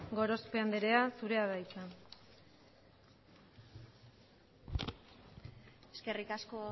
gorospe anderea zure da hitza eskerrik asko